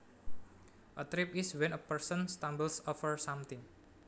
A trip is when a person stumbles over something